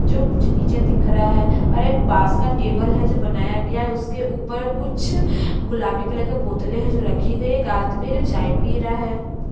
जो कुछ नीचे दिख रहा है और एक बास का टेबल है जो बनाया गया है उसके ऊपर कुछ गुलाबी कलर के बोतले है जो रखी गई है एक आदमी है जो चाय पी रहा है।